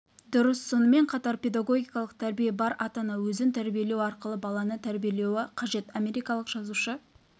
дұрыс сонымен қатар педагогикалық тәрбие бар ата-ана өзін тәрбиелеу арқылы баланы тәрбиелеуі қажет америкалық жазушы